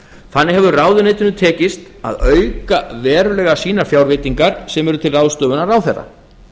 þannig hefur ráðuneytinu tekist að auka verulega sínar fjárveitingar sem eru til ráðstöfunar ráðherra